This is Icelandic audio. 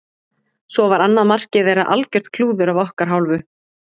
Svo var annað markið þeirra algjört klúður af okkar hálfu.